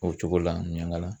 O cogo la miyanŋala.